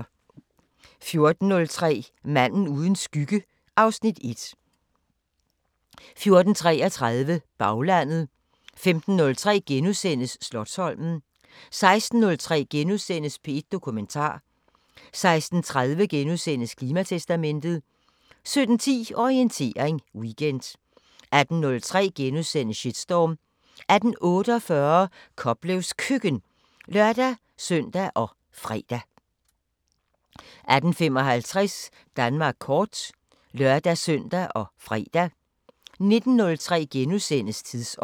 14:03: Manden uden skygge (Afs. 1) 14:33: Baglandet 15:03: Slotsholmen * 16:03: P1 Dokumentar * 16:30: Klimatestamentet * 17:10: Orientering Weekend 18:03: Shitstorm * 18:48: Koplevs Køkken (lør-søn og fre) 18:55: Danmark kort (lør-søn og fre) 19:03: Tidsånd *